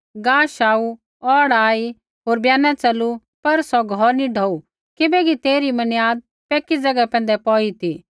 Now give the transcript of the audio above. गाश आऊ औढ़ा आई होर ब्याना च़लू पर सौ घौर नी ढौऊ किबैकि तेइरी मनियाद पक्की ज़ैगा पैंधै पौई ती